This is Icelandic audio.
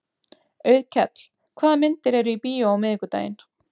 Auðkell, hvaða myndir eru í bíó á miðvikudaginn?